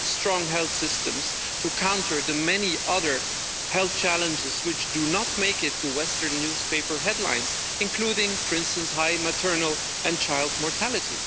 We need strong health systems to counter the many other health challenges which do not make it to western newspaper headlines, including, for instance, high maternal and child mortality.